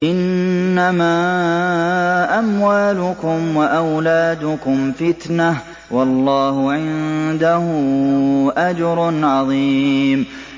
إِنَّمَا أَمْوَالُكُمْ وَأَوْلَادُكُمْ فِتْنَةٌ ۚ وَاللَّهُ عِندَهُ أَجْرٌ عَظِيمٌ